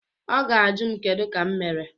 Ọ ga ajụ m kedu ka m mere.